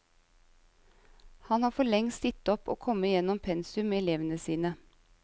Han har for lengst gitt opp å komme gjennom pensum med elevene sine.